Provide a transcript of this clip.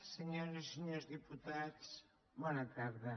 senyores i senyors diputats bona tarda